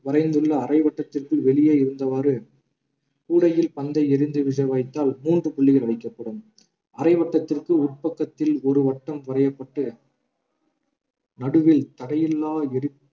வரைந்துள்ள அரை வட்டத்திற்குள் வெளியே இருந்தவாறு கூடையில் பந்தை எறிந்து விழ வைத்தால் மூன்று புள்ளிகள் வைக்கப்படும் அரை வட்டத்திற்கு உட்பக்கத்தில் ஒரு வட்டம் வரையப்பட்டு நடுவில் தடையில்லா எறி ~